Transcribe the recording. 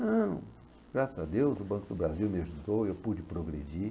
Não, graças a Deus o Banco do Brasil me ajudou e eu pude progredir.